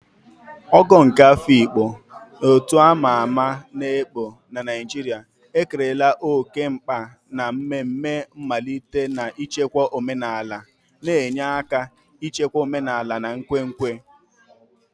Ogo nke Afikpo, otu a ma ama ekpo na Naijiria, ekerela oke mkpa na mmemme mmalite na ichekwa omenala, na-enye aka n'ichekwa omenala na nkwenkwe.